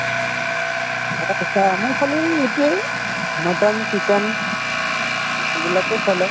আমাৰফালে এতিয়া এই mutton chicken এইবিলাকে চলে